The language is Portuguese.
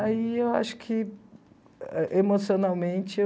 Aí eu acho que emocionalmente eu...